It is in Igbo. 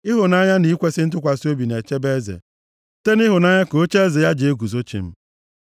Ịhụnanya na ikwesi ntụkwasị obi na-echebe eze, site nʼịhụnanya ka ocheeze ya na-eguzo chịm.